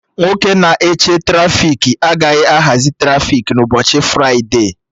Nwoke na-eche trafiki agaghị ahazi trafiki na ụbọchị fride